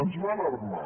ens va alarmar